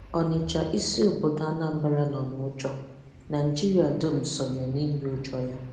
Ọ̀nị̀chà, isi obodo Anambra, nọ n’ụ́jọ̀. Naịjíríà dum sọnye n’ị̀rì ụ́jọ̀ ya.